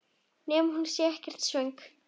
Nema hún sé ekkert svöng.